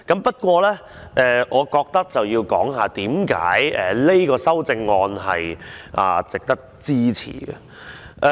不過，我認為要講解這項修正案為何值得支持。